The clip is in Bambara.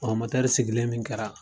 sigilen min kɛra.